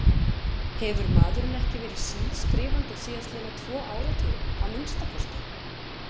Hefur maðurinn ekki verið sískrifandi síðastliðna tvo áratugi, að minnsta kosti?